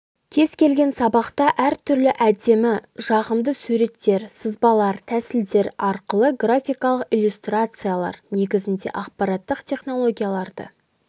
кез келген сабақта әр түрлі әдемі жағымды суреттер сызбалар тәсілдер арқылы графикалық иллюстрациялар негізінде ақпараттық технологияларды